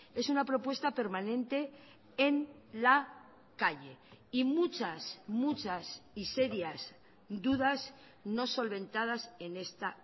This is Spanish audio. es una propuesta permanente en la calle y muchas muchas y serias dudas no solventadas en esta